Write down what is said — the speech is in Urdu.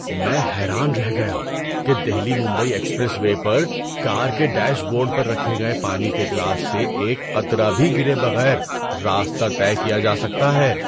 میں حیران رہ گیا کہ دہلی ممبئی ایکسپریس وے پر کار کے ڈیش بورڈ پر رکھے گئے پانی کے گلاس سے ایک قطرہ بھی گرے بغیر راستہ طے کیا جا سکتا ہے۔